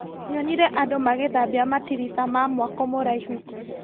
Nyonire andũ magĩthambia matirica ma mwako mũraihu.